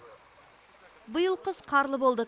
биыл қыс қарлы болды